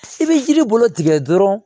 I bɛ yiri bolo tigɛ dɔrɔn